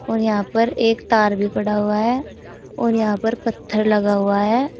और यहां पर एक तार भी पड़ा हुआ है और यहां पर पत्थर लगा हुआ है।